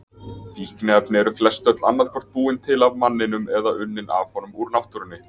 Fíkniefni eru flestöll annað hvort búin til af manninum eða unnin af honum úr náttúrunni.